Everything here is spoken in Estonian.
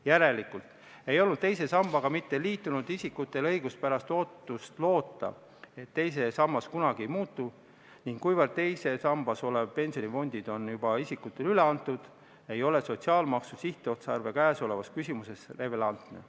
" Järelikult ei olnud teise sambaga mitteliitunud isikutel õiguspärast ootust loota, et teine sammas kunagi ei muutu, ning kuna teises sambas olev pensioniraha on juba isikutele üle antud, ei ole sotsiaalmaksu sihtotstarve käesolevas küsimuses relevantne.